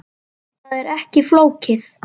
Það er ekki flókið.